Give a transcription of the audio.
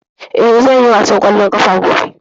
Eh, zan yi wasan kwallon kafa gobe.